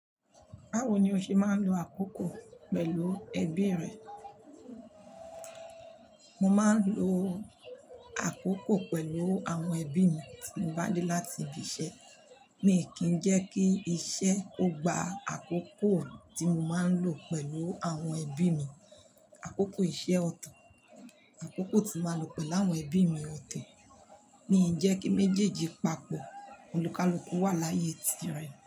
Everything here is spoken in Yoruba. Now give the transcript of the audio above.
Báwo ni o ṣe máa ń lo àkókò pẹ̀lú ẹbí rẹ? Mo máa ń lo àkókò pẹ̀lú àwọn ẹbí mi tí mo bá dé láti ibi-iṣẹ́. Mi ò kì í jẹ́ kí iṣẹ́ ó gba àkókò tí mo máa ń lò pẹ̀lú àwọn ẹbí mi. Àkókò iṣẹ́ ọ̀tọ̀, àkókò tí mo máa lò pẹ̀lú àwọn ẹbí mi ọ̀to. Mi ò kì í jẹ́ kí méjèèjì papọ̀, olùká-lùkú wà láyé tí rẹ̀.